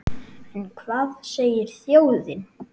En hvað segir þjóðin?